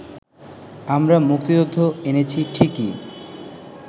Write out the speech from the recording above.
আমরা মুক্তিযুদ্ধ এনেছি ঠিকই